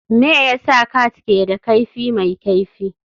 Me yasa cats ke da kaifi mai kaifi?